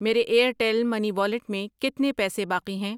میرے Airtel money wallet میں کتنے پیسے باقی ہیں؟